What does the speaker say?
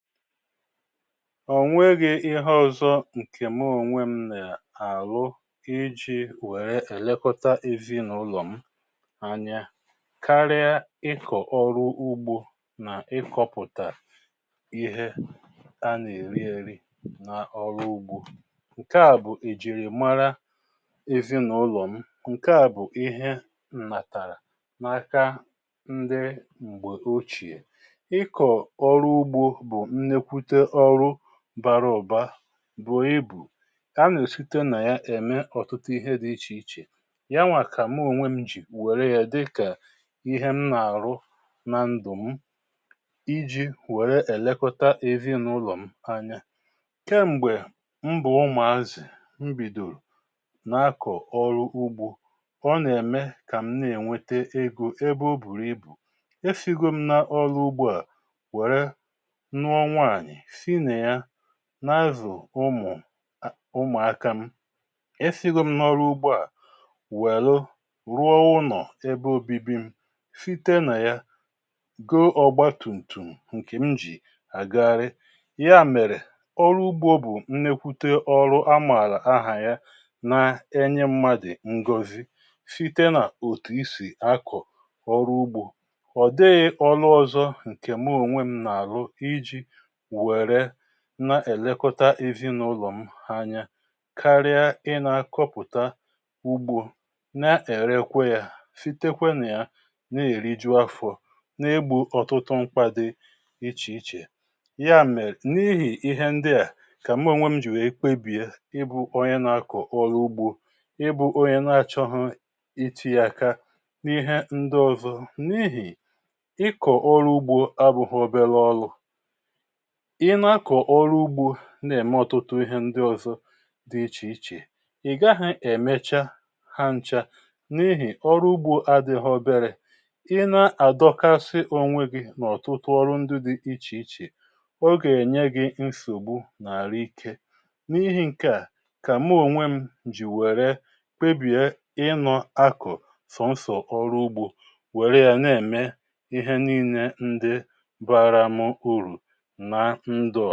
Ònweghị ihe ọzọ ǹkè mụ ònwè m nà àlụ ijí wère èlekọta ezinụlọ̀ m anya karịa ịkọ̀ ọrụ ugbȯ nà ịkọpụ̀tà ihe a nà-èri ėrí na ọrụ ugbȯ. Nke à bụ̀ ìjìrìmara ezinụlo m. Nke à bụ̀ ihe ǹnàtàrà n’aka ndị m̀gbè óchiè. Ịkọ ọrụ ugbo bụ nnekwute ọrụ bara ụbȧ, bui ibù. A nà-èsite nà ya ème ọ̀tụtụ ihe dị ichè ichè. Ya nwà kà mụ onwe m jì wère ya dịkà ihe m nà-àrụ na ndụ̀ m iji wère èlekọta èzinụlọ̀ m anya. Kem̀gbè m bụ̀ ụmụ̀azị̀, m bìdòrò nà-akọ̀ ọrụ ugbȯ, ọ nà-ème kà m na-ènwete egȯ ebe o bùrù ibù. esigȯ m na ọrụ ugbȯ à were nụọ nwaanyị, si nịa na-azụ̀ ụmụ̀ ụmụakȧ m. Esiġo m n’ọrụ ugbȯ à wèlu rụọ ụnọ̀ ebe obibi m, site nà yȧ goo ọgbatùmtùm, ǹkè m jì àgagharị. Ya mèrè, ọrụ ugbȯ bụ̀ nnekwute ọrụ amààlà ahà ya na-enye mmadụ̀ ngozi site nà òtù isì akọ̀ ọrụ ugbȯ. Ọdịghị ọrụ ọzọ ǹkè mụ ònwe m nà-àrụ ijì wèré na-èlekọta ezinụlọ̀ m hanya karịa ị na-akọpụ̀ta ugbȯ, na-èrekwe ya sitekwe na ya na-èriju afọ, na-égbò ọtụtụ mkpa dị ichè ichè. Ya mèrè n’ihì ihe ndị à kà mụ onwe m jì wee kpebiè ịbụ onye na-akọ̀ ọrụ ugbȯ, ịbụ̇onye na-achọghọ itinye aka n’ihe ndị ọzọ n’ihì ịkọ̀ ọrụ ugbȯ abụghọ obele ọlụ. Ị nȧ-akọ̀ ọrụ ugbȯ, nà-ème ọtụtụ ihe ndị ọzọ dị ichè ichè, ị̀ gaghị èmecha ha nchȧ n’ihì ọrụ ugbȯ adịghọ obele. Ịnȧ-àdọkasị onwe gị n’ọ̀tụtụ ọrụ ndị dị ichè ichè, ọ ga-ènye gị nsògbu n’arụikė. N’ihì ǹke à, kà mụ ònwe m jì wère kpebìe ịnọ́akụ̀ sọ̀nsọ̀ ọrụ ugbȯ, wère yȧ na-èmé ihe nine ndị baara mụ urù na ndụ.